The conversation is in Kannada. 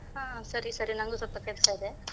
ಹಾ ಸರಿ ಸರಿ, ನಂಗೂ ಸ್ವಲ್ಪ ಕೆಲ್ಸ ಇದೆ.